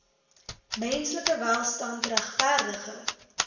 menslike welstand regverdige